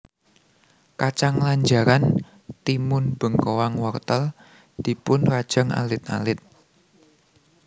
Kacang lanjaran timun bengkoang wortel dipun rajang alit alit